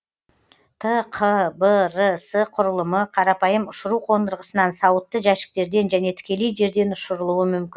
тқбрс құрылымы қарапайым ұшыру қондырғысынан сауытты жәшіктерден және тікелей жерден ұшырылуы мүмкін